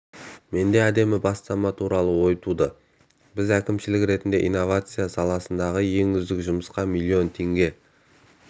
менде әдемі бастама туралы ой туды біз әкімшілік ретінде инновация саласындағы ең үздік жұмысқа миллион теңге